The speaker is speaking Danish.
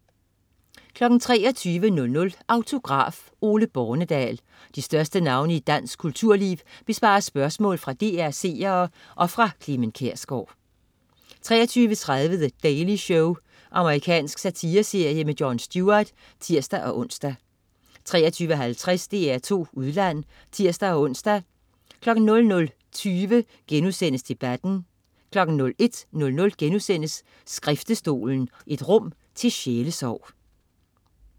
23.00 Autograf: Ole Bornedal. De største navne i dansk kulturliv besvarer spørgsmål fra DR's seere og fra Clement Kjersgaard 23.30 The Daily Show. Amerikansk satireserie med Jon Stewart (tirs-ons) 23.50 DR2 Udland (tirs-ons) 00.20 Debatten* 01.00 Skriftestolen, et rum til sjælesorg*